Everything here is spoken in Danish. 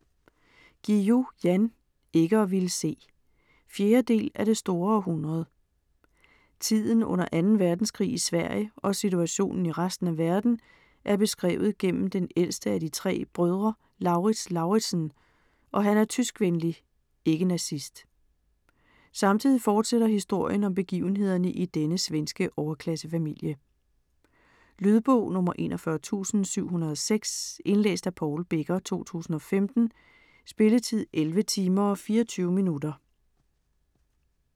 Guillou, Jan: Ikke at ville se 4. del af Det store århundrede. Tiden under 2. verdenskrig i Sverige og situationen i resten af verden er beskrevet gennem den ældste af de 3 brødre, Lauritz Lauritzen, og han er tyskvenlig (ikke nazist). Samtidig fortsætter historien om begivenhederne i denne svenske overklassefamilie. Lydbog 41706 Indlæst af Paul Becker, 2015. Spilletid: 11 timer, 24 minutter.